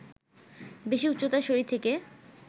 বেশি উচ্চতায় শরীর থেকে